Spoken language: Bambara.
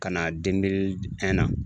Ka na na